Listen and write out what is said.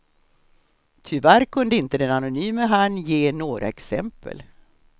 Tyvärr kunde inte den anonyme herren ge några exempel.